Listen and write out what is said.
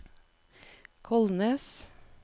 Kolnes